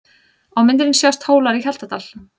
Á myndinni sjást Hólar í Hjaltadal.